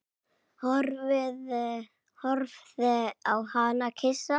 Horfði á hana hissa.